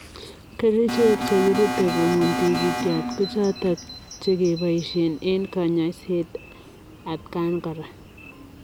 Kerichek chekirute kobuun tigityot kochotok chekepaishe eng kanyaiset atakaan koraa.